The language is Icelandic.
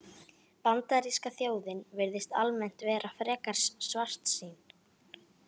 Bandaríska þjóðin virðist almennt vera frekar svartsýn.